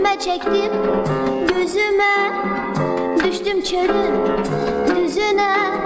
Çürümə çəkdim gözümə, düşdüm çölün düzünə.